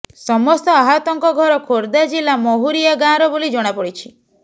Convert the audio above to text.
ସମସ୍ତ ଆହତଙ୍କ ଘର ଖୋର୍ଦ୍ଧା ଜିଲ୍ଲା ମହୁରିଆ ଗାଁର ବୋଲି ଜଣାପଡ଼ିଛି